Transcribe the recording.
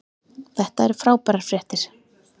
Þetta eru frábærar fréttir